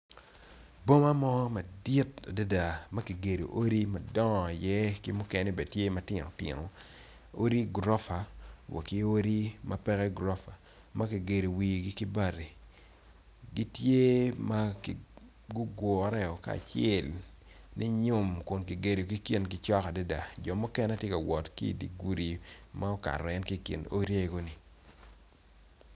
Boma mo madit adada ma kigedo odi madongo i iye ki mukene bene tye matino tino odi gurofa wa ki odi ma peke gurofa makigedo wigi ki bati gitye ma gugure kacel linyum kun kigedogi kingi cok adada jo mukene tye kawot ki dye gudi ma okato en ki kin odi egi-ni.